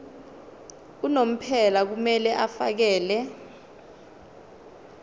unomphela kumele afakele